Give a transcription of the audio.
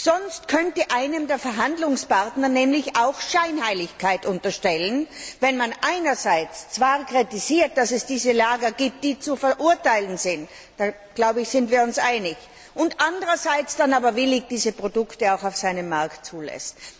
Sonst könnte einem der Verhandlungspartner nämlich auch Scheinheiligkeit unterstellen, wenn man einerseits zwar kritisiert, dass es diese Lager gibt, die zu verurteilen sind ich glaube, da sind wir uns einig andererseits dann aber diese Produkte willig auf seinem Markt zulässt.